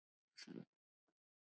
Jú, þetta er mikið mál.